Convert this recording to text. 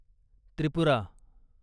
Tripura